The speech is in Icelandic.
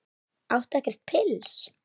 Áttu ekkert pils?